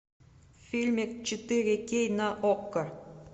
фильмик четыре кей на окко